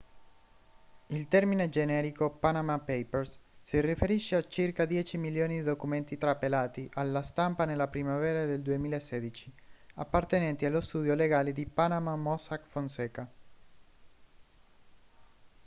il termine generico panama papers si riferisce a circa dieci milioni di documenti trapelati alla stampa nella primavera del 2016 appartenenti allo studio legale di panama mossack fonseca